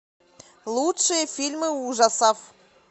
лучшие фильмы ужасов